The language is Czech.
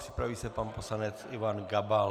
Připraví se pan poslanec Ivan Gabal.